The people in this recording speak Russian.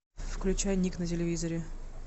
включай ник на телевизоре